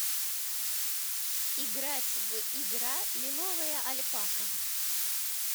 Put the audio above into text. играть в игра лиловая альпака